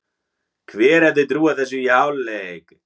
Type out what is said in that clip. Hver hefði trúað þessu í hálfleik?